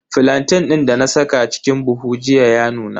Flantain din dana saka a cikin buhu jiya ya nuna.